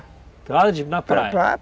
Pelado praia?